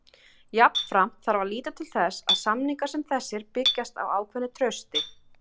Jafnframt þarf að líta til þess að samningar sem þessir byggjast á ákveðnu trausti.